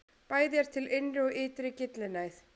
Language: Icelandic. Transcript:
Bæði er til innri og ytri gyllinæð.